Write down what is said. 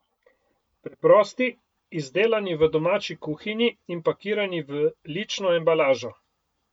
Preprosti, izdelani v domači kuhinji in pakirani v lično embalažo.